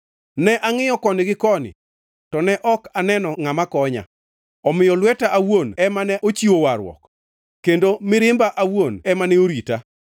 Ne angʼiyo koni gi koni to ne ok aneno ngʼama konya, omiyo lweta awuon ema ne ochiwo warruok; kendo mirimba awuon ema ne orita.